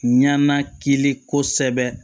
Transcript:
Ɲanakili kosɛbɛ